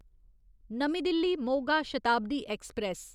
नमीं दिल्ली मोगा शताब्दी ऐक्सप्रैस